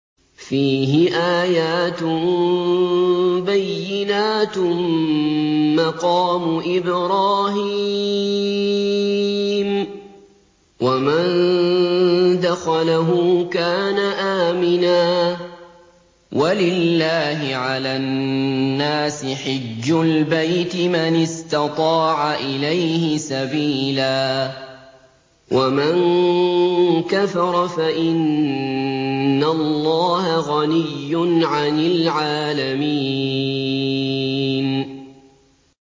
فِيهِ آيَاتٌ بَيِّنَاتٌ مَّقَامُ إِبْرَاهِيمَ ۖ وَمَن دَخَلَهُ كَانَ آمِنًا ۗ وَلِلَّهِ عَلَى النَّاسِ حِجُّ الْبَيْتِ مَنِ اسْتَطَاعَ إِلَيْهِ سَبِيلًا ۚ وَمَن كَفَرَ فَإِنَّ اللَّهَ غَنِيٌّ عَنِ الْعَالَمِينَ